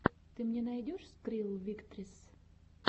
ты мне найдешь скрилл виктресс